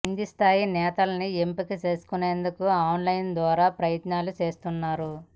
కింది స్థాయి నేతల్ని ఎంపిక చేసుకునేందుకు ఆన్ లైన్ ద్వారా ప్రయత్నాలు చేస్తున్నారు